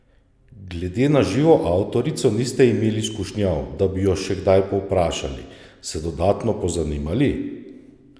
Glede na živo avtorico niste imeli skušnjav, da bi jo še kaj povprašali, se dodatno pozanimali?